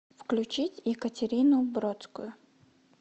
включить екатерину бродскую